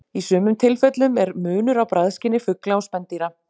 Í sumum tilfellum er munur á bragðskyni fugla og spendýra.